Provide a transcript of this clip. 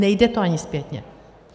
Nejde to ani zpětně.